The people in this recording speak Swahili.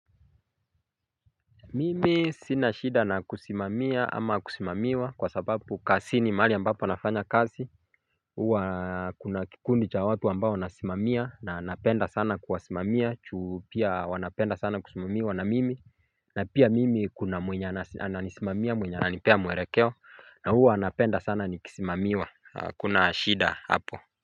Mimi sina shida na kusimamia ama kusimamiwa kwa sababu kasini maali ambapo nafanya kazi. Uwa kuna kikundi cha watu ambao wanasimamia na napenda sana kuwasimamia chuu pia wanapenda sana kusimamiwa na mimi. Na pia mimi kuna mwenye ananisimamia mwenye ananipea mwelekeo na huwa anapenda sana nikisimamiwa hakuna shida hapo.